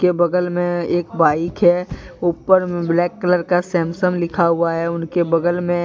बगल में एक बाइक है ऊपर में ब्लैक कलर का सैमसंग लिखा हुआ है उनके बगल मे --